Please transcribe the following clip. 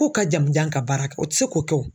K'u ka jamujan ka baara kɛ o tɛ se k'o kɛ o.